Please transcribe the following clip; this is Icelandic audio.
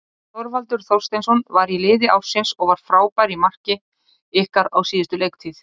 Þorvaldur Þorsteinsson var í liði ársins og var frábær í marki ykkar á síðustu leiktíð.